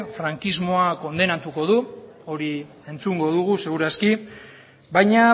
frankismoa kondenatuko du hori entzungo dugu seguru aski baina